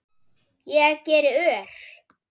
Ég geri ör